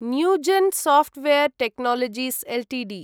Newgen software technologies Ltd